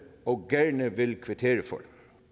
og gerne vil kvittere for